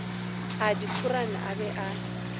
a dikhorane a be a